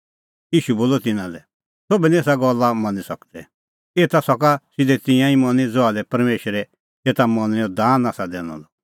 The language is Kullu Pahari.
ईशू बोलअ तिन्नां लै सोभ निं एसा गल्ला मनी सकदै एता सका सिधै तिंयां मनी ज़हा लै परमेशरै एता मनणैंओ दान आसा दैनअ द